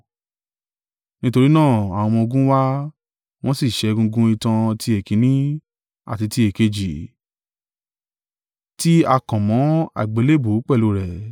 Nítorí náà, àwọn ọmọ-ogun wá, wọ́n sì ṣẹ́ egungun itan ti èkínní, àti ti èkejì, tí a kàn mọ́ àgbélébùú pẹ̀lú rẹ̀.